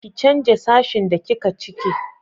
ki canja sashin da kika cike!